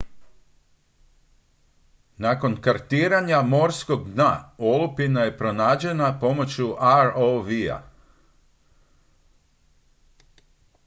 nakon kartiranja morskog dna olupina je pronađena pomoću rov-a